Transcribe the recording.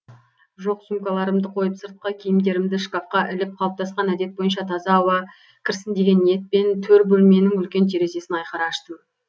жоқ сумкаларымды қойып сыртқы киімдерімді шкафка іліп қалыптасқан әдет бойынша таза ауа кірсін деген ниетпен төр бөлменің үлкен терезесін айқара аштым